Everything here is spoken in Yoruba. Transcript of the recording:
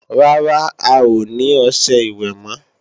Rárá, a ò ní ọṣẹ ìwẹ̀ mọ́